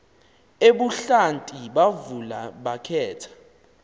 ebuhlanti bavula bakhetha